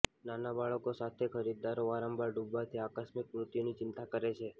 નાના બાળકો સાથે ખરીદદારો વારંવાર ડૂબવાથી આકસ્મિક મૃત્યુની ચિંતા કરે છે